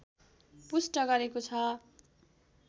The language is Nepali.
पुष्ट गरेको छ